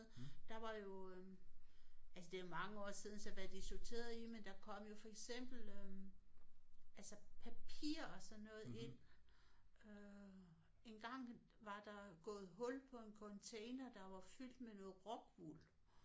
Der var jo øh altså det er jo mange år siden så hvad de sorterede i men der kom jo for eksempel øh altså papir og sådan noget ind øh engang var der gået hul på en container der var fyldt med noget rockwool